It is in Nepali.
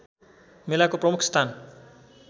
मेलाको प्रमुख स्थान